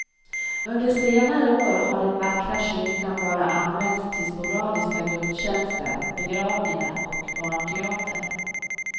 Under senare år har den vackra kyrkan bara använts till sporadiska gudstjänster, begravningar och barnteater.